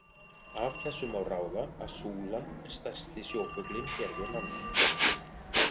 Af þessu má ráða að súlan er stærsti sjófuglinn hér við land.